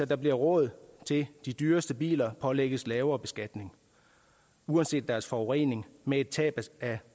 der bliver råd til at de dyreste biler pålægges lavere beskatning uanset deres forurening med et tab af